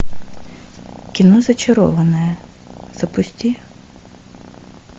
кино зачарованная запусти